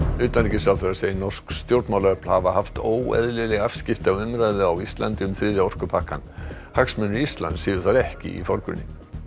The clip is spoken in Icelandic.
utanríkisráðherra segir norsk stjórnmálaöfl hafa haft óeðlileg afskipti af umræðu á Íslandi um þriðja orkupakkann hagsmunir Íslands séu þar ekki í forgrunni